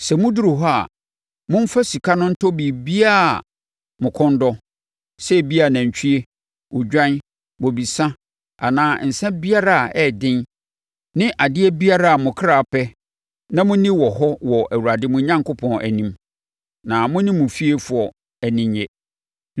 Sɛ moduru hɔ a, momfa sika no ntɔ biribiara a mo kɔn dɔ, sɛ ebia, nantwie, odwan, bobesa, anaa nsã biara a ɛyɛ den ne adeɛ biara a mo kra pɛ na monni wɔ hɔ wɔ Awurade mo Onyankopɔn anim, na mo ne mo fiefoɔ ani nnye.